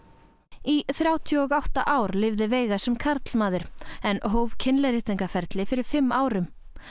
í þrjátíu og átta ár lifði veiga sem karlmaður en hóf fyrir fimm árum